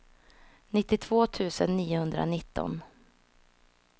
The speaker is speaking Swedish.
nittiotvå tusen niohundranitton